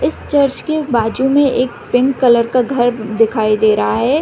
इस चर्च के बाजु मे पिंक कलर का घर दिखाई दे रहा है।